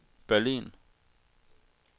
Berlin